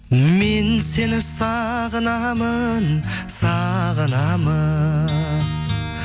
мен сені сағынамын сағынамын